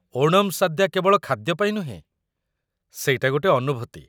ଓଣମ୍ ସାଦ୍ୟା କେବଳ ଖାଦ୍ୟ ପାଇଁ ନୁହେଁ, ସେଇଟା ଗୋଟେ ଅନୁଭୂତି ।